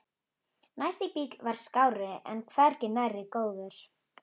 Næsti bíll var skárri en hvergi nærri góður.